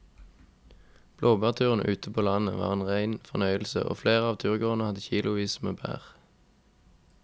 Blåbærturen ute på landet var en rein fornøyelse og flere av turgåerene hadde kilosvis med bær.